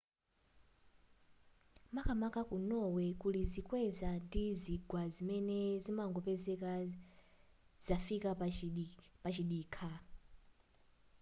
makamaka ku norway kulizikweza ndi zigwa zimene zimangopezeka zafika pachidikha